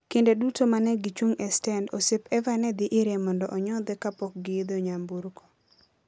Kinde duto ma ne gichung' e stend, osiep Eva ne dhi ire mondo onyodhe kapok giidho nyamburko.